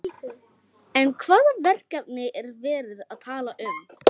En hvaða verkefni er verið að tala um?